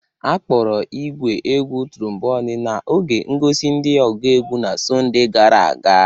Akpọro igwé égwù tromboni n'oge ngosi di ogú egwu na Sọnde gara aga.